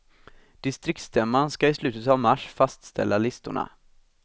Distriktsstämman skall i slutet av mars fastställa listorna.